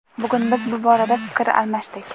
Bugun biz bu borada fikr almashdik.